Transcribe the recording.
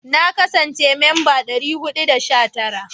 Na kasance memba 419.